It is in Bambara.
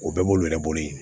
O bɛɛ b'olu yɛrɛ bolo yen